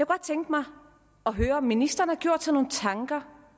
godt tænke mig at høre om ministeren har gjort sig nogen tanker